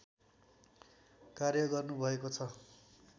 कार्य गर्नुभएको छ